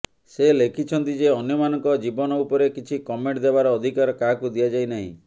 ସେ ଲେଖିଛନ୍ତି ଯେ ଅନ୍ୟମାନଙ୍କ ଜୀବନ ଉପରେ କିଛି କମେଣ୍ଟ ଦେବାର ଅଧିକାର କାହାକୁ ଦିଆଯାଇନାହିଁ